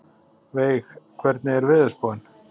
Veig, hvernig er veðurspáin?